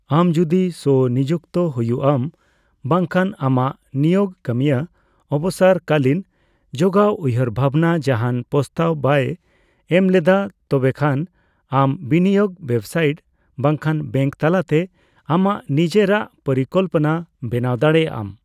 ᱟᱢ ᱡᱳᱫᱤ ᱥᱚᱼᱱᱤᱡᱩᱠᱛᱚ ᱦᱩᱭᱩᱜᱼᱟᱢ ᱵᱟᱝ ᱠᱷᱟᱱ ᱟᱢᱟᱜ ᱱᱤᱭᱳᱜ ᱠᱟᱹᱢᱤᱭᱟᱹ ᱚᱵᱚᱥᱚᱨ ᱠᱟᱹᱞᱤᱱ ᱡᱳᱜᱟᱣ ᱩᱭᱦᱟᱹᱨᱵᱷᱟᱵᱱᱟ ᱡᱟᱦᱟᱸᱱ ᱯᱚᱥᱛᱟᱵ ᱵᱟᱭ ᱮᱢᱞᱮᱫᱟ, ᱛᱚᱵᱮ ᱠᱷᱟᱱ ᱟᱢ ᱵᱤᱱᱤᱭᱳᱜ ᱳᱭᱮᱵᱥᱟᱭᱤᱴ ᱵᱟᱝᱠᱷᱟᱱ ᱵᱮᱝᱠ ᱛᱟᱞᱟᱛᱮ ᱟᱢᱟᱜ ᱱᱤᱡᱮᱨᱟᱜ ᱯᱚᱨᱤᱠᱚᱞᱯᱚᱱᱟ ᱵᱮᱱᱟᱣ ᱫᱟᱲᱮᱭᱟᱜᱼᱟᱢ ᱾